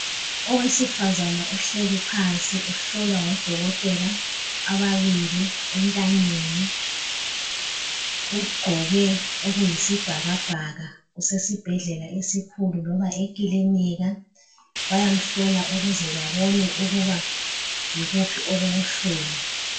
Owesifazana uhleli phansi uhlolwa ngodokotela ababili entanyeni. Ugqoke okuyisibhakabhaka usesibhedlela esikhulu loba ekilinika bayamhlola ukuze babone ukuba yikuthi okubuhlungu.